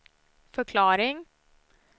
förklaring